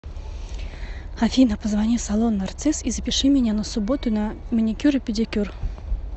афина позвони в салон нарцисс и запиши меня на субботу на маникюр и педикюр